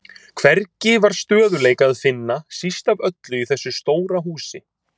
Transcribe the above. Hvergi var stöðugleika að finna, síst af öllu í þessu stóra húsi.